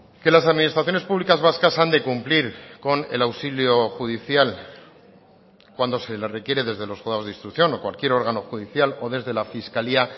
que las administraciones públicas vascas han de cumplir con el auxilio judicial cuando se les requiere desde los juzgados de instrucción o cualquier órgano judicial o desde la fiscalía